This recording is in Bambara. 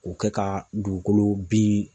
K'o kɛ ka dugukolo bin